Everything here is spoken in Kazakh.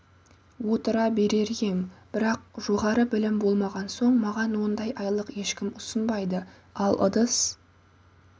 отыра берер ем бірақ жоғары білім болмаған соң маған ондай айлық ешкім ұсынбайды ал ыдыс